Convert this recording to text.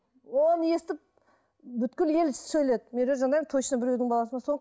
оны естіп ел сөйледі медеу жанаева точно біреудің баласы ма сол